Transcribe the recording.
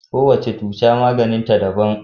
Kowace cuta maganin ta daban